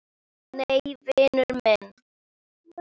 Nei, vinur minn.